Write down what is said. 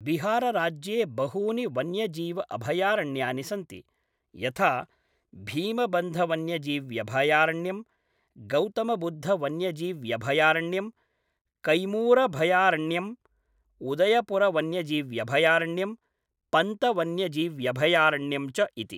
बिहारराज्ये बहूनि वन्यजीव अभयारण्यानि सन्ति, यथा भीमबन्धवन्यजीव्यभयारण्यम्, गौतमबुद्धवन्यजीव्यभयारण्यम्, कैमूरभयारण्यम्, उदयपुरवन्यजीव्यभयारण्यम्, पंतवन्यजीव्यभयारण्यम् च इति।